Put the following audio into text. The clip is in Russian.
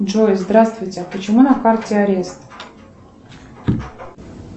джой здравствуйте почему на карте арест